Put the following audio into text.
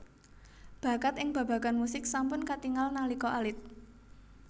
Bakat ing babagan musik sampun katingal nalika alit